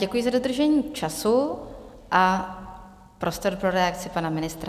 Děkuji za dodržení času a prostor pro reakci pana ministra.